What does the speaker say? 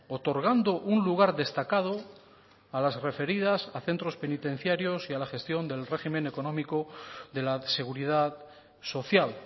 otorgando un lugar destacado a las referidas a centros penitenciarios y a la gestión del régimen económico de la seguridad social